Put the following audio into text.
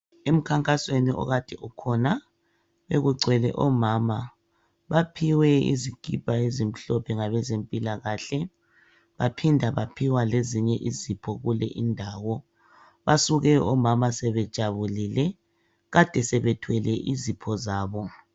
Emkhankasweni okade ukhona bekugcwele omama baphiwe izikipa ezimhlophe ngabezempilakahle baphinda baphiwa lezinye izipho kule indawo basuke omama sebejabulile kade sebethwele izipho zabo